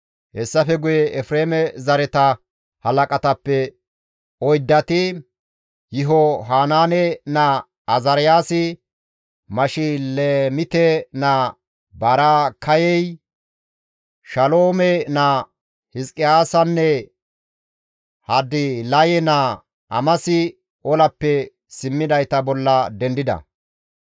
Hessafe guye Efreeme zareta halaqatappe oyddati, Yihohanaane naa Azaariyaasi, Mashilemite naa Baraakayey, Shaloome naa Hizqiyaasanne Hadilaye naa Amasi olappe simmidayta bolla dendida.